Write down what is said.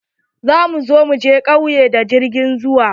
Za mu zo mu je ƙauye da jirgin ruwa.